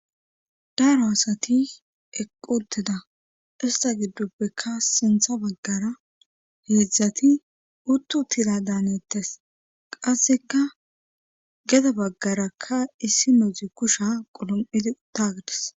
daro asati eqqoteda ista giddupbekka sintha baggara heedzdzati uttu tila daanettes qasseka geda baggarakka issi nodzi kusha qulom7idi taagdis